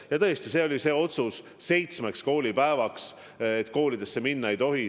Ja tõesti me tegime algul otsuse seitsmeks koolipäevaks, et kooli minna ei tohi.